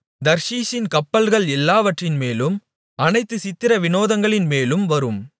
தர்ஷீசின் கப்பல்கள் எல்லாவற்றின்மேலும் அனைத்துச் சித்திர விநோதங்களின் மேலும் வரும்